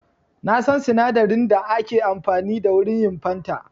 Na san sinadarin da ake amfani da wurin yin fanta.